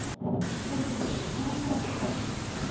салют мама африка